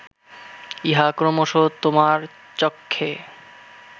ইহা ক্রমশ তোমার চক্ষে